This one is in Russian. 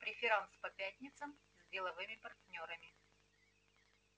преферанс по пятницам с деловыми партнёрами